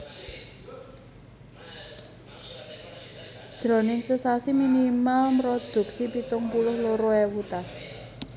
Jroning sesasi minimal mrodhuksi pitung puluh loro ewu tas